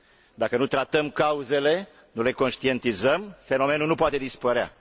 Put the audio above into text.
Dacă nu tratăm cauzele, nu le conștientizăm, fenomenul nu poate dispărea.